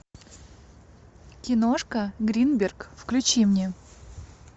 киношка гринберг включи мне